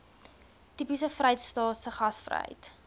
tipies vrystaatse gasvryheid